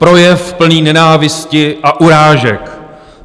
Projev plný nenávisti a urážek.